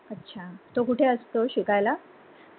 तो कुठे असतो शिकायला?